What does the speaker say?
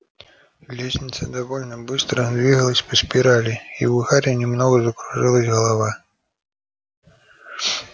лестница довольно быстро двигалась по спирали и у гарри немного закружилась голова